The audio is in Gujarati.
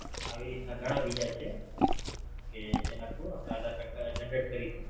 આવી રીત ના ઘણા બીજા છે કે જેના થરું આપણે આધાર કાર્ડ Generate કરી શકિયે